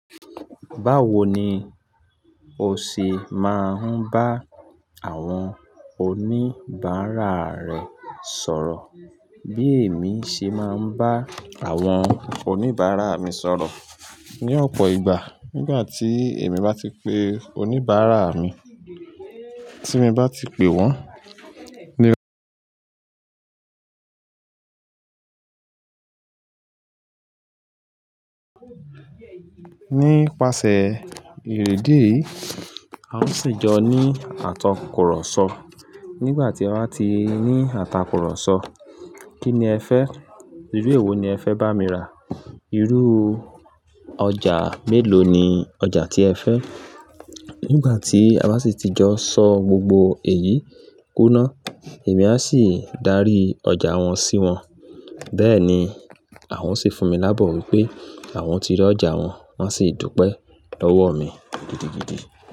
Báwo ni o ṣe máa ń bá àwọn oníbàárà rẹ sọ̀rọ̀? Bí èmi ṣe máa ń bá àwọn oníbàárà mi sọ̀rọ̀ ní ọ̀pọ̀ ìgbà. Nígbà tí èmi bá ti pé oníbàárà mi, tí mo bá ti pé wọ́n. Nípasẹ̀ ìdíèyí, a o sì jọ ní àtakùrọ̀sọ. Nígbà tí a bá ti ní àtakùrọ̀sọ, kí ni ẹ fẹ́? Irú èwo ni ẹ fẹ́ bá mi rà? Irú ọjà mélòó ni ọjà tí ẹ fẹ́? Nígbà tí àba sì ti jọ sọ gbogbo èyí kúná, èmi a sì darí ọjà wọn sí wọn. Bẹ́ẹ̀ ni àwọn sì fún mi labọ wipé àwọn ti rí ọjà wọn, wọ́n a sì dùpẹ́ lọ́wọ́ mi gidigidi.